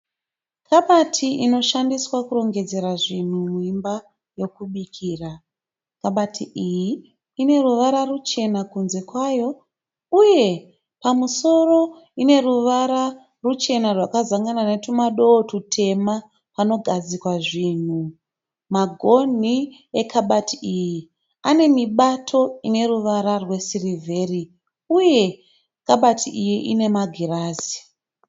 Kabati inoshandiswa kurongedzera zvinhu muimba yokubikira. Kabati iyi ine ruvara ruchena kunze kwayo uye pamusoro ine ruvara ruchena rwakazangana netumado tutema panogadzikwa zvinhu. Magonhi ekabati iyi ane mibato ine ruvara rwesirivheri uye kabati iyi ine magirazi.